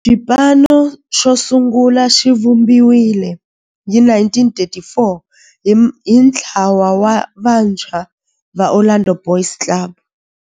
Xipano xosungula xivumbiwile hi 1934 hi ntlawa wa vantshwa va Orlando Boys Club.